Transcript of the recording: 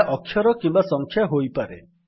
ଏହା ଅକ୍ଷର କିମ୍ୱା ସଂଖ୍ୟା ହୋଇପାରେ